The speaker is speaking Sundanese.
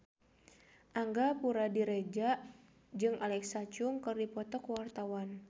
Angga Puradiredja jeung Alexa Chung keur dipoto ku wartawan